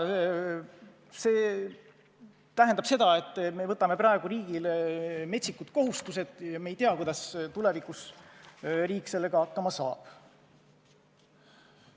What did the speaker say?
See tähendab seda, et me võtame praegu riigile metsikud kohustused ja me ei tea, kuidas riik nendega tulevikus hakkama saab.